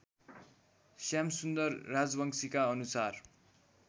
श्यामसुन्दर राजवंशीका अनुसार